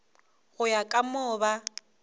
go ya ka moo ba